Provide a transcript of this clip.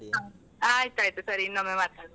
ಹಾ ಆಯ್ತಾಯ್ತು ಸರಿ ಇನ್ನೊಮ್ಮೆ ಮಾತಾಡುವ ಆಯ್ತಾ.